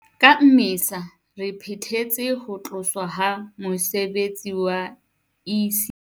Ka Mmesa 2022, re phethetse ho tloswa ha mose betsi wa ECD